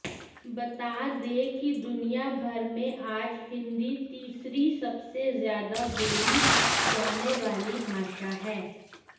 बता दें कि दुनियाभर में आज हिंदी तीसरी सबसे ज्यादा बोली जाने वाली भाषा है